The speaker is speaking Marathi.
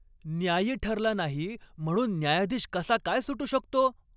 न्यायी ठरला नाही म्हणून न्यायाधीश कसा काय सुटू शकतो?